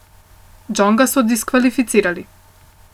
Džonga so diskvalificirali.